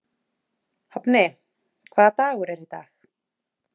Hafni, hvaða dagur er í dag?